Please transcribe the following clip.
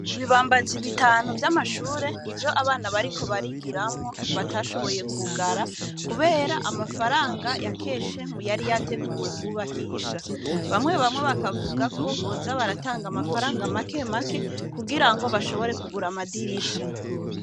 Ibibambazi bitanu vy'amashure ni vyo abana bariko barigiramwo batashoboye kugara, kubera amafaranga ya keshemu yari yateguwe kubakisha bamwe bamwe bakavuga ko boza baratanga amafaranga make make kugira ngo bashobore kugura amadirisha.